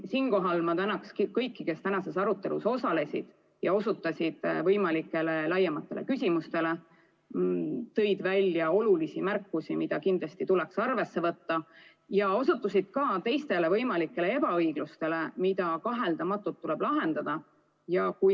Siinkohal ma tänan kõiki, kes tänases arutelus osalesid ja osutasid võimalikele laiematele küsimustele, tegid olulisi märkusi, mida kindlasti tuleks arvesse võtta, ja osutasid ka muule võimalikule ebaõiglusele, mida kaheldamatult tuleb lahendada.